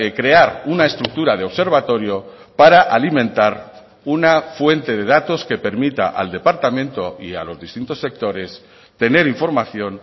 crear una estructura de observatorio para alimentar una fuente de datos que permita al departamento y a los distintos sectores tener información